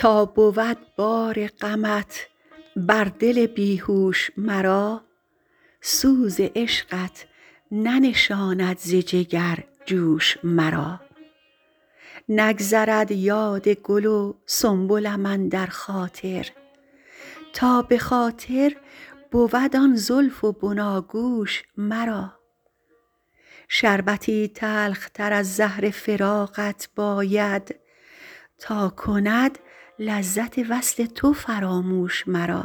تا بود بار غمت بر دل بی هوش مرا سوز عشقت ننشاند ز جگر جوش مرا نگذرد یاد گل و سنبلم اندر خاطر تا به خاطر بود آن زلف و بناگوش مرا شربتی تلختر از زهر فراقت باید تا کند لذت وصل تو فراموش مرا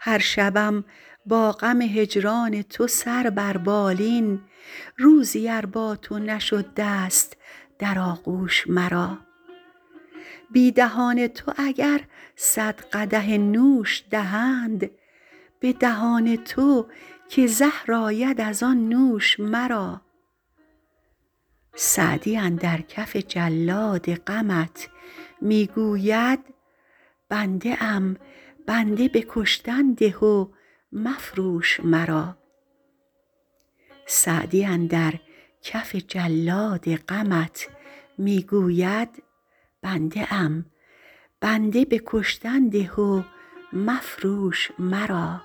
هر شبم با غم هجران تو سر بر بالین روزی ار با تو نشد دست در آغوش مرا بی دهان تو اگر صد قدح نوش دهند به دهان تو که زهر آید از آن نوش مرا سعدی اندر کف جلاد غمت می گوید بنده ام بنده به کشتن ده و مفروش مرا